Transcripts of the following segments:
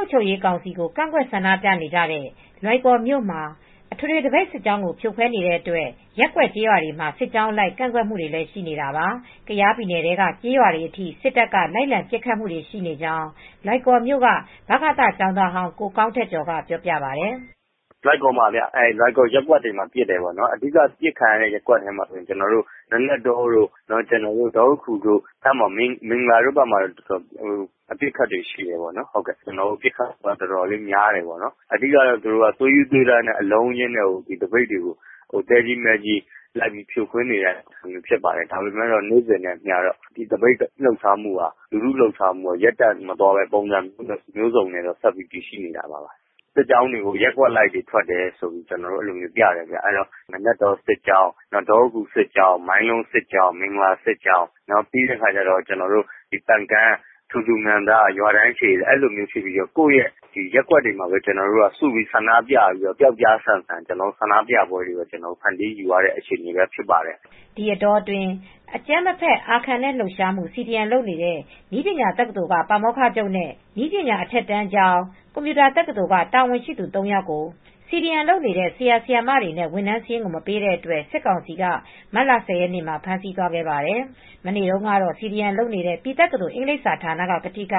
ုပ်ချုပ်ရေးကောင်စီကိုကန့်ကွက်ဆန္ဒပြနေကြတဲ့ လွိုင်ကော်မြို့က အထွေထွေသပိတ်စစ်ကြောင်းကိုဖြိုခွဲနေတဲ့အတွက် ရပ်ကွက်ကျေးရွာတွေမှာ စစ်ကြောင်းအလိုက် ကန့်ကွက်မူတွေလည်းရှိနေတာပါ ။ ကယားပြည်နယ်ထဲက ကျေးရွာတွေအထိ စစ်တပ်က လိုက်လံပစ်ခတ်မူတွေ ရှိနေကြောင်းလွိုင်ကော်မြို့ဗကသကျောင်းသားဟောင်း ကိုကောင်းထက်ကျော်က ပြောပြပါတယ်။ "လွိုင်ကော်ရပ်ကွက်တွေမှာပစ်ခတ်နေတာဗျ ပစ်ခံရတဲ့ ရပ်ကွက်တွေကတော့ နာနတ်တော ဒေါအူးခူတို့ မင်္ဂလာတို့အဲဒီဘက်တွေမှာအတော်ပစ်ခတ်နေပါတယ်ပစ်ခတ်မူတွေကအတော်များတယ် သွေးရူးသွေးတမ်းနဲ့သဲကြီးမဲကြီးနဲ့သပိတ်စစ်ကြောင်းတွေကိုလိုက်လံဖြိုခွဲနေတာပါ " ဒါပေမယ့်သပိတ်စစ်ကြောင်းတွေကတော့ နေစဉ်နဲ့အမျှ ကန့်ကွက် ဆန္ဒပြမှုတွေ ရပ်တန့်မသွားပဲ ပုံစုံမျိုးစုံနဲ့ဆက်ပြီး ရှိနေတာပါ။ စစ်ကြောင်းတွေကို ရပ်ကွက်အလိုက်ထွက်တယ်ဆိုပြီးပြတယ်။ နာနတ်တော့စစ်ကြောင်း၊ ဒေါအူးခူစစ်ကြောင်၊း မိုင်းလုံးစစ်ကြောင်း၊ မင်္ဂလာစစ်ကြောင်း၊ ပန် ကန်းတို့ ရွာတန်းရှည်ကိုယ့်ရဲ့ရပ်ကွက်တွေမှာ ပြောက်ကျားဆန်ဆန်ဆန္ဒပြမူတွေပဲဖန်တီးယူနေရပါတယ် ဒီအတောအတွင်း အကြမ်းမဖက်အာခံတဲ့လှုပ်ရှားမူ့(CDM) လုပ်နေတဲ့ နည်းပညာတကသိုလ်က ပါမောက္ခချုပ်နဲ့ နည်းပညာအထက်ကျောင်းနဲ့ ကွန်ပြူတာတကသိုလ်က တာဝန်ရှိသူ ၃ယောက်ကို CDM လုပ်နေတဲ့ဆရာဆရာမတွေ ဝန်ထမ်းစားရင်းကို မပေးတဲ့အတွက် စစ်ကောင်စီက မတ်လ ၁၀ ရက်နေ့မှာ ဖမ်းသွားခဲ့ပါတယ်။ မနေ့တုန်းကတော့ CDM လုပ်နေတဲ့ ပြည်တက္ကသိုလ် အင်္ဂလိပ်စာ ဌာနက ကထိက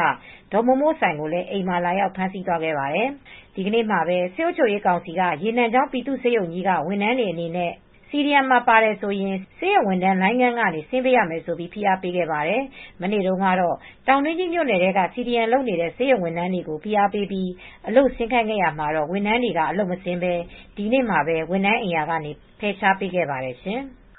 ဒေါ်မိုးမိုးဆိုင် ကို အိမ်မှာ လာရောက် ဖမ်းဆီး ခေါ်ဆောင်သွားပါတယ်။ ဒီနေ့မှာပဲ စစ်အုပ်ချုပ်ရေးကောင်စီက ရေနံချောင်း ပြည်သူ့ဆေးရုံကြီးက ဝန်ထမ်းတွေအနေနဲ့ CDM မှာ ပါတယ်ဆိုရင် ဆေးရုံဝန်ထမ်းလိုင်းခန်းတွေကနေ ဆင်းပေးရမယ်ဆိုပြီး ဖိအားပေးခဲ့ပါတယ်။ မနေ့တုန်းကတော့တောင်းတွင်းကြီးမြိုနယ်ထဲက CDM လုပ်နေတဲ့ ဆေးရုံဝန်းထမ်းတွေကို ဖိအားပေးပြီး အလုပ်ဆင်းခိုင်းခဲ့ရာမှာ ဝန်ထမ်းတွေက အလုပ်မဆင်းဘဲ ဒီနေ့မှာ ဝန်ထမ်းအိမ်ယာကနေဖယ်ရှားပေးခဲ့ရပါတယ်ရှင်။